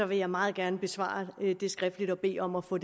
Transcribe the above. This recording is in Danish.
vil jeg meget gerne besvare det skriftligt og bede om at få